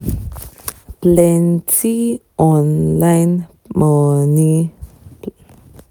plenty online money